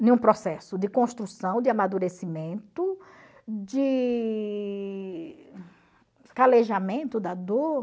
Em um processo de construção, de amadurecimento, de calejamento da dor.